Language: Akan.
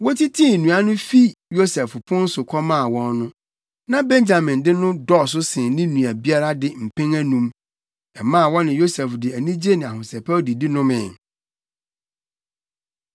Wotitii nnuan no fi Yosef pon so kɔmaa wɔn no, na Benyamin de no dɔɔso sen ne nua biara de mpɛn anum. Ɛmaa wɔne Yosef de anigye ne ahosɛpɛw didi nomee.